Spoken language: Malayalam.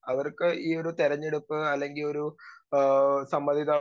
സ്പീക്കർ 2 അവർക്ക് ഈ ഒരു തെരഞ്ഞെടുപ്പ് അല്ലെങ്കിലൊരു ആഹ് സമ്മതിതാ